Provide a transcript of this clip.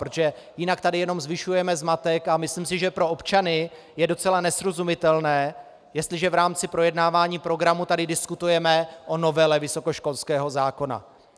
Protože jinak tady jenom zvyšujeme zmatek a myslím si, že pro občany je docela nesrozumitelné, jestliže v rámci projednávání programu tady diskutujeme o novele vysokoškolského zákona.